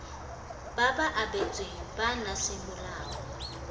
ba ba abetsweng bana semolao